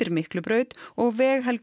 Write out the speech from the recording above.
Miklubraut og